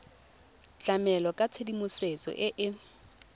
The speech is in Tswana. tlamela ka tshedimosetso e e